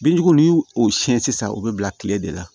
Binjugu n'i y'o siɲɛ sisan o bɛ bila kile de la